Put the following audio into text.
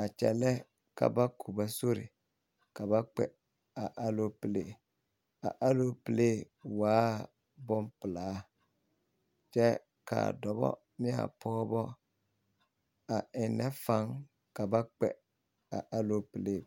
a kyɛllɛ ka ba koba sori ka ba kpɛ a aloopelee a aloopelee waa bompelaa kyɛ kaa dɔbɔ nea pɔgbɔ a eŋnɛ faŋ ka ba kpɛ a aloopelee.